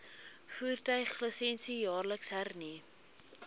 voertuiglisensie jaarliks hernu